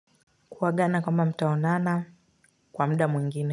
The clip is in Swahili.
Kuagana kama mtaonana kwa muda mwingine.